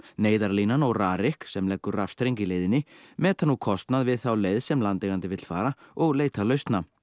Neyðarlínan og RARIK sem leggur rafstreng í leiðinni meta nú kostnað við þá leið sem landeigandi vill fara og leita lausna